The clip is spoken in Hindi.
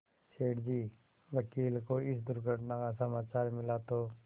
सेठ जी वकील को इस दुर्घटना का समाचार मिला तो